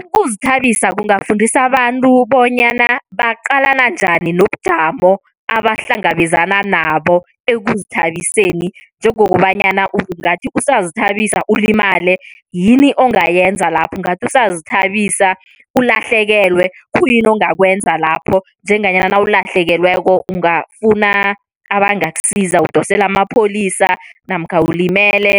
Ukuzithabisa kungafundisa abantu bonyana baqalana njani nobujamo abahlangabezana nabo ekuzithabiseni. Njengokobanyana ungathi usazithabisa ulimale, yini ongayenza lapho ungathi usazithabisa ulahlekelwe khuyini ongakwenza lapho? Njenganyana nawulahlekelweko ungafuna abangakusiza udosele amapholisa namkha ulimele